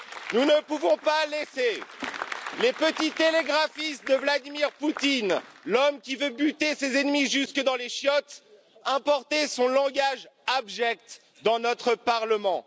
Nous ne pouvons pas laisser les petits télégraphistes de Vladimir Poutine, l'homme qui veut buter ses ennemis jusque dans les chiottes, importer son langage abject dans notre Parlement.